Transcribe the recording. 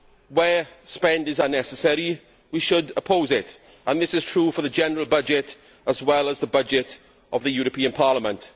Where spending is unnecessary, we should oppose it. This is true for the general budget, as well as the budget of the European Parliament.